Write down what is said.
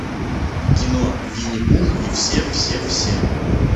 кино винни пух и все все все